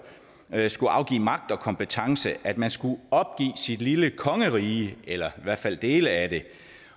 skulle afgive magt og kompetence at man skulle opgive sit lille kongerige eller i hvert fald dele af det